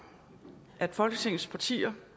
at folketingets partier